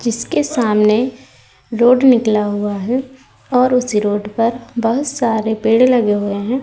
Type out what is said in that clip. जिसके सामने रोड निकला हुआ है और उस रोड पर बहोत सारे पेड़ लगे हुए हैं।